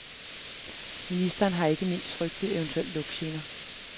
Ministeren har ikke mindst frygtet eventuelle lugtgener.